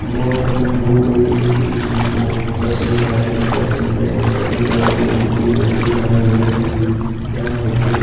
गोतम बुद्ध की फोट तस्वीर है। इस तस्वीर में यह एक ही गौतम बुद्ध की मूर्ति बनाई गई है। यह मूर्ति --